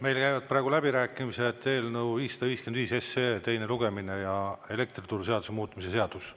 Meil käivad praegu läbirääkimised, eelnõu 555 SE teine lugemine ja elektrituruseaduse muutmise seadus.